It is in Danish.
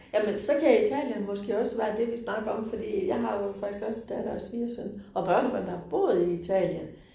Jamen så kan Italien måske også være det, vi snakker om fordi jeg har jo faktisk også datter og svigersøn og børnebørn, der har boet i Italien